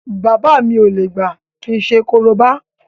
Bàbá mi ò lè gbà kí n ṣe korobá